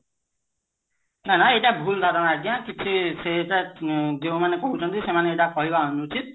ନା ନା ଏଇଟା ଭୁଲ ଧାରଣ ଆଜ୍ଞା କିଛି ସେଇଟା ଯୋଉମାନେ କହୁଛନ୍ତି ସେମାନେ ସେଇଟା କହିବା ଅନୁଚିତ